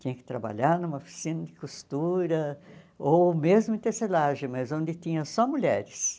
Tinha que trabalhar numa oficina de costura, ou mesmo em tecelagem, mas onde tinha só mulheres.